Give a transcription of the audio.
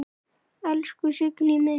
Elsku Signý mín.